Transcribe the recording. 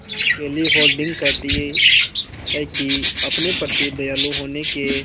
केली हॉर्डिंग कहती हैं कि अपने प्रति दयालु होने के